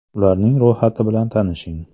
Ularning ro‘yxati bilan tanishing.